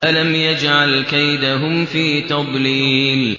أَلَمْ يَجْعَلْ كَيْدَهُمْ فِي تَضْلِيلٍ